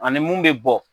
Ani mun bɛ bɔ